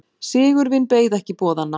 Sigurvin beið ekki boðanna.